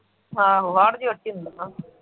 ਆਹੋ ਹਾੜ ਜੇਠ ਚ ਹੁੰਦੀਆਂ